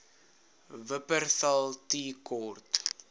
wupperthal tea court